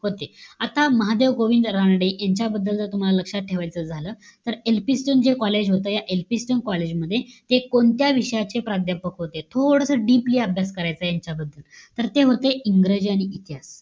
होते. आता महादेव गोविंद रानडे, यांच्याबद्दल जर तुम्हला लक्षात ठेवायचं झालं. तर, Elphinstone जे college होतं, या एल्फिन्स्टन कॉलेज मध्ये, ते कोणत्या विषयाचे प्राध्यापक होते? थोडंसं deeply याचा अभ्यास करायचाय यांच्याबद्दल. तर ते होते इंग्रजी आणि इतिहास.